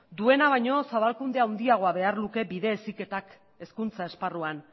duena baino zabalkunde handiago behar luke bide heziketak hezkuntza esparruan